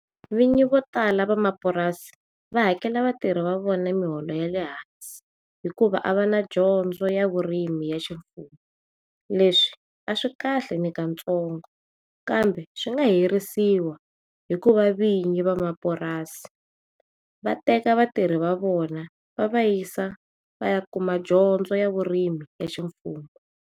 Vinyi vo tala vamapurasi va hakela vatirhi va vona miholo yale hansi hikuva a vana dyondzo ya vurimi ya ximfumo leswi aswikahle nakantsongo kambe swi nga herisiwa hikuva vinyi va mapurasini vatekani vatirhi va vona va vayisa vaya kuma dyondzo ya vurimi ya ximfumo.